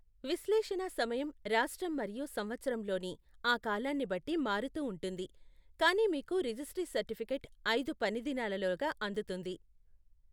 విశ్లేషణా సమయం రాష్ట్రం మరియు సంవత్సరంలోని ఆ కాలాన్ని బట్టి మారుతూ ఉంటుంది, కానీ మీకు రిజిస్ట్రీ సర్టిఫికేట్ ఐదు పని దినాలలోగా అందుతుంది.